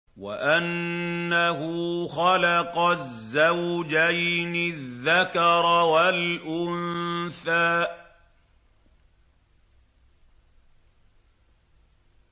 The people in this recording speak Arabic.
وَأَنَّهُ خَلَقَ الزَّوْجَيْنِ الذَّكَرَ وَالْأُنثَىٰ